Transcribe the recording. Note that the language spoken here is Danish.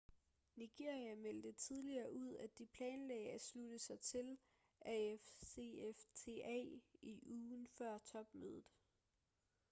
nigeria meldte tidligere ud at de planlagde at slutte sig til afcfta i ugen før topmødet